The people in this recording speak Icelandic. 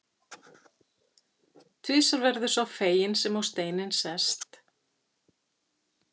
Tvisvar verður sá feginn sem á steininn sest.